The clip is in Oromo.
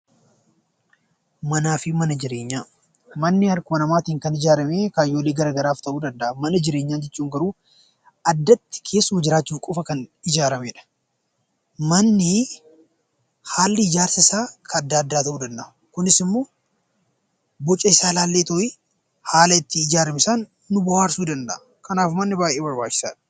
Manaa fi Mana jireenya, mManni harkuma namatin kan ijaarame kaayyoolii garagaraatiif ta'u danda'a, Mana jireenya jechuun garuu addatti keessuma jiraachuuf qofa kan ijaaramedha. Manni haallii ijaarsa isa addaa, adda ta'u danda'a, kunisimmo boca isa ilaalleetu'i haala itti ijaarame sana nu bo'aarsu danda'a. kanaaf manni baayyee barbaachisadha.